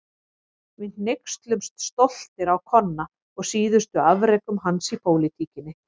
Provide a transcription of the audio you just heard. Við hneykslumst stoltir á Konna og síðustu afrekum hans í pólitíkinni.